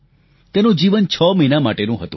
તેનું જીવન છ મહિના માટેનું હતું